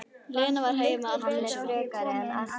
Lena var heima aldrei þessu vant.